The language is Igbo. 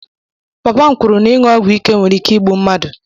Papa m kwuru na ịṅụ ọgwụ ike nwere ike igbu mmadụ.